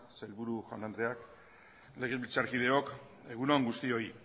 sailburu jaun andreok legebiltzarkideok egun on guztioi